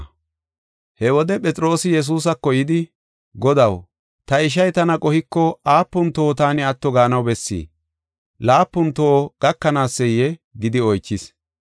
He wode Phexroosi Yesuusako yidi, “Godaw, ta ishay tana qohiko aapun toho taani atto gaanaw bessii? Laapun toho gakanaaseyee?” gidi oychis.